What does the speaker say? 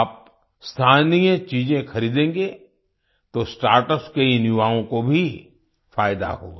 आप स्थानीय चीजें खरीदेंगे तो स्टार्टअप्स के इन युवाओं को भी फ़ायदा होगा